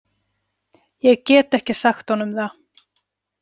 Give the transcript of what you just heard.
Ég get ekki sagt honum það.